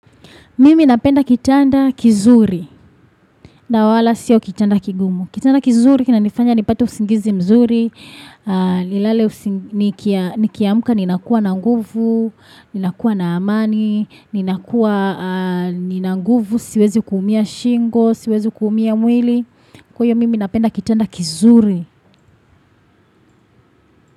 Mimi napenda kitanda kizuri, na wala siyo kitanda kigumu. Kitanda kizuri, kina nifanya nepati usingizi mzuri, ni kiamka, ni nakuwa na nguvu, ni nakuwa na amani, ni nakuwa, ni nanguvu, siwezi kuumia shingo, siwezi kuumia mwili. Kwaio, mimi napenda kitanda kizuri.